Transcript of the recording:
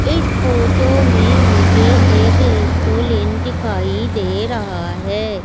इस फोटो में मुझे एक लेस्टोलेंट दिखाई दे रहा है।